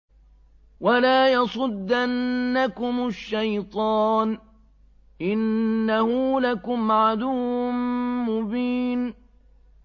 وَلَا يَصُدَّنَّكُمُ الشَّيْطَانُ ۖ إِنَّهُ لَكُمْ عَدُوٌّ مُّبِينٌ